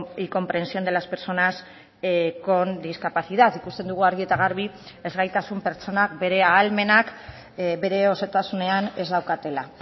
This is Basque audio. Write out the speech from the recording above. y comprensión de las personas con discapacidad ikusten dugu argi eta garbi ezgaitasun pertsonak bere ahalmenak bere osotasunean ez daukatela